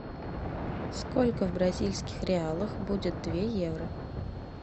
сколько в бразильских реалах будет две евро